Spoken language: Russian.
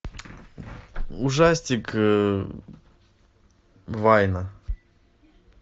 ужастик вайна